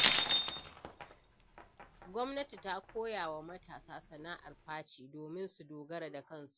Gwamnati ta koya wa matasa sana’ar faci, domin su dogara da kansu.